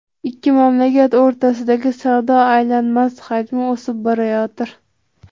Ikki mamlakat o‘rtasidagi savdo aylanmasi hajmi o‘sib borayotir.